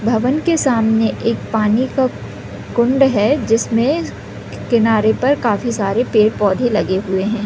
भवन के सामने एक पानी का कुंड है जिसमे किनारे पर काफी सारे पेड़-पौधे लगे हुए है।